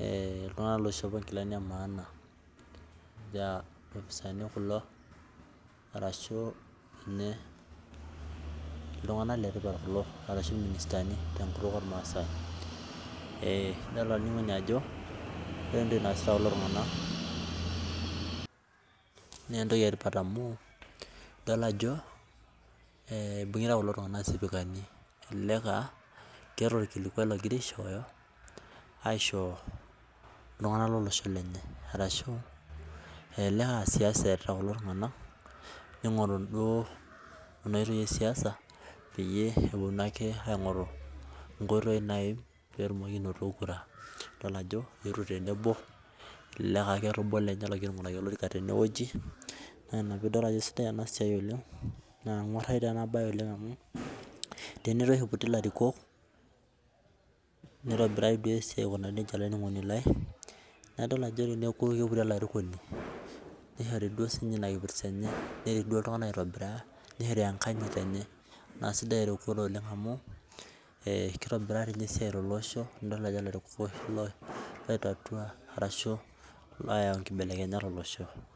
iltung'anak loishopo nkilani emaana, ilopisaani kulo, arashu ninye iltung'anak letipat kulo arashu irministani tenkutuk ormaasai. Idol olainining'oni ajo ,ore entoki naasita kulo tung'anak, nentoki etipat amu, idol ajo ibung'ita kulo tung'anak isipikani elelek ah keeta orkilikwai ogira aishooyo, aisho iltung'anak lolosho lenye, arashu elelek ah siasa erita kulo tung'anak ning'oru duo kuna oitoi esiasa, peyie eponu ake aing'oru inkoitoi naim petumoki anoto kura. Idol ajo, eetuo tenebo, elelek ah keeta obo lenye ogira aing'uraki olorika tenewueji, na ina pidol ajo sidai enasiai oleng, na keng'uarrayu tenabae amu, tene toshi iputi larikok, nitobiraa duo esiai aikunaa nejia olainining'oni lai, na idol ajo teneku keputi olarikoni, nishori duo sinye ina kipirta enye, nerik duo iltung'anak aitobiraa, nishori enkanyit enye, kasidai erikore oleng amu, kitobiraa tinye esiai tolosho, nidol ajo ilarikok oshi loi tatua arashu loyau nkibelekenyat olosho.